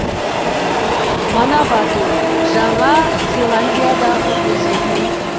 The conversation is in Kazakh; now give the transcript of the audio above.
манавату жаңа зеландиядағы өзен